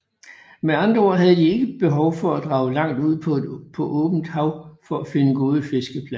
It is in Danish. Med andre ord havde de ikke behov for at drage langt ud på åbent hav for at finde gode fiskepladser